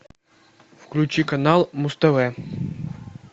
включи канал муз тв